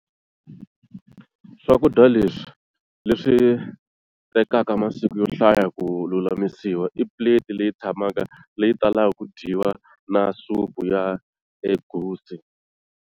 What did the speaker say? Swakudya leswi, leswi tekaka masiku yo hlaya ku lulamisiwa, i paste leyi tsakamaka leyi talaka ku dyiwa na supu ya egusi.